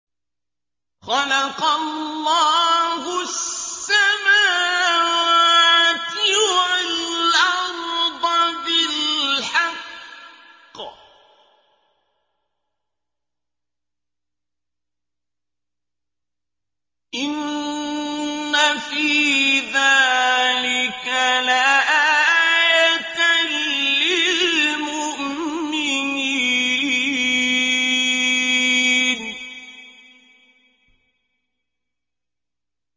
خَلَقَ اللَّهُ السَّمَاوَاتِ وَالْأَرْضَ بِالْحَقِّ ۚ إِنَّ فِي ذَٰلِكَ لَآيَةً لِّلْمُؤْمِنِينَ